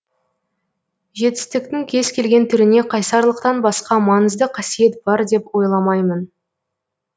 жетістіктің кез келген түріне қайсарлықтан басқа маңызды қасиет бар деп ойламаймын